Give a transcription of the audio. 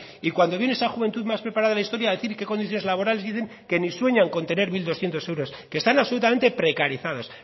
y cuando viene esa juventud más preparada de la historia a decir qué condiciones laborales tienen dicen que ni sueñan con tener mil doscientos euros que están absolutamente precarizados